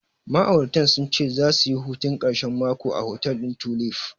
Ma'auratan sun ce zasu yi hutun ƙarshen mako a hotel ɗin Tulif.